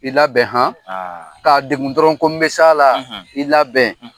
I labɛn han! k'a degun dɔrɔn ko n bɛ s'a la, i labɛn .